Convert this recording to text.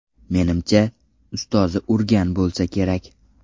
Menimcha, ustozi urgan bo‘lsa kerak.